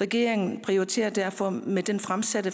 regeringen prioriterer derfor med det fremsatte